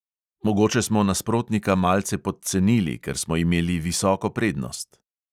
Mogoče smo nasprotnika malce podcenili, ker smo imeli visoko prednost.